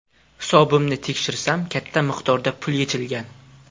Hisobimni tekshirsam katta miqdorda pul yechilgan.